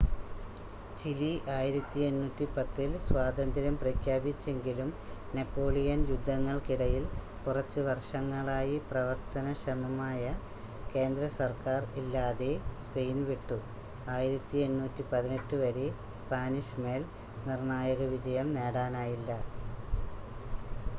Chile 1810 ൽ സ്വാതന്ത്ര്യം പ്രഖ്യാപിച്ചെങ്കിലും നെപ്പോളിയൻ യുദ്ധങ്ങൾക്കിടയിൽ കുറച്ച് വർഷങ്ങളായി പ്രവർത്തനക്ഷമമായ കേന്ദ്രസർക്കാർ ഇല്ലാതെ സ്പെയിൻ വിട്ടു 1818 വരെ സ്പാനിഷ് മേൽ നിർണ്ണായക വിജയം നേടാനായില്ല